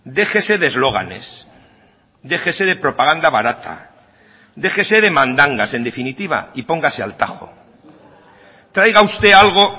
déjese de eslóganes déjese de propaganda barata déjese de mandangas en definitiva y póngase al tajo traiga usted algo